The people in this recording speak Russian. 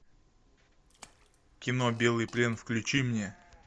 кино белый плен включи мне